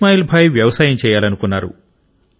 ఇస్మాయిల్ భాయ్ వ్యవసాయం చేయాలనుకున్నారు